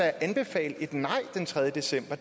anbefale et nej den tredje december